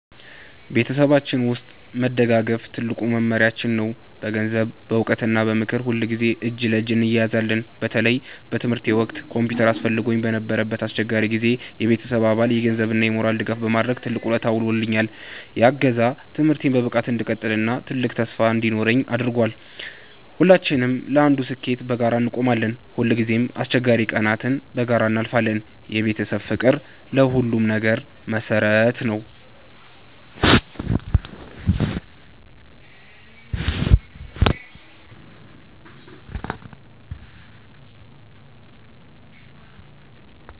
በቤተሰባችን ውስጥ መደጋገፍ ትልቁ መመሪያችን ነው። በገንዘብ፣ በዕውቀት እና በምክር ሁልጊዜ እጅ ለእጅ እንያያዛለን። በተለይ በትምህርቴ ወቅት ኮምፒውተር አስፈልጎኝ በነበረበት አስቸጋሪ ጊዜ፣ የቤተሰቤ አባል የገንዘብ እና የሞራል ድጋፍ በማድረግ ትልቅ ውለታ ውሎልኛል። ያ እገዛ ትምህርቴን በብቃት እንድቀጥል እና ትልቅ ተስፋ እንዲኖረኝ አድርጓል። ሁላችንም ለአንዱ ስኬት በጋራ እንቆማለን። ሁልጊዜም አስቸጋሪ ቀናትን በጋራ እናልፋለን። የቤተሰብ ፍቅር ለሁሉም ነገር መሰረት ነው።